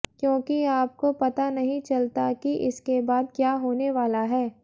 क्योंकि आपको पता नही चलता कि इसके बाद क्या होने वाला है